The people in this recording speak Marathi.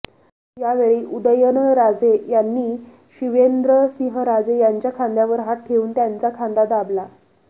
यावेळी उदयनराजे यांनी शिवेंद्रसिंहराजे यांच्या खांद्यावर हात ठेवून त्यांचा खांदा दाबला